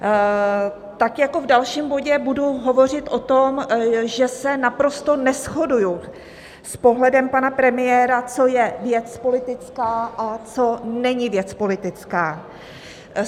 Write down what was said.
Tak jako v dalším bodě budu hovořit o tom, že se naprosto neshoduji s pohledem pana premiéra, co je věc politická a co není věc politická.